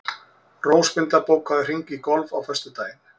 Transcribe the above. Rósmunda, bókaðu hring í golf á föstudaginn.